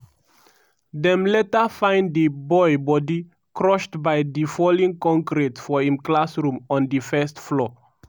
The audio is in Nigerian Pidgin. dem later find di boy body crushed by di fallen concrete for im classroom on di first floor.